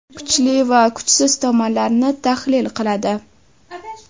Kuchli va kuchsiz tomonlarini tahlil qiladi.